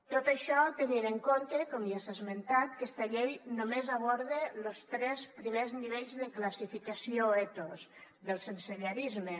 tot això tenint en compte com ja s’ha esmentat que aquesta llei només aborda los tres primers nivells de classificació ethos del sensellarisme